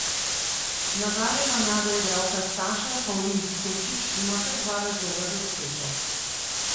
Nadarjena mlada igralka Saša Pavlin Stošić ima kar dva razloga za srečo.